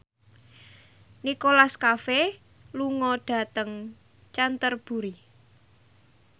Nicholas Cafe lunga dhateng Canterbury